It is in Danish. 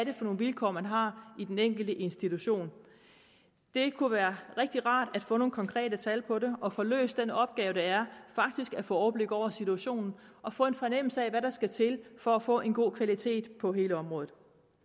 er for nogle vilkår man har i den enkelte institution det kunne være rigtig rart at få nogle konkrete tal på det og få løst den opgave det er faktisk at få overblik over situationen og få en fornemmelse af hvad der skal til for at få en god kvalitet på hele området